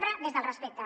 pre des del respecte